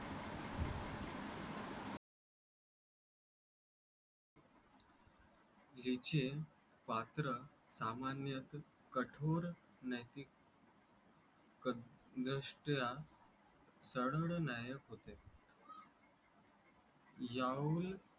जे चे पात्र सामान्य कठोर नैतिक द्रष्ट्या चढल नायक होते याहून.